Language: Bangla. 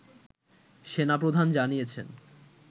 সেনা প্রধান জানিয়েছেন